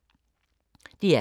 DR K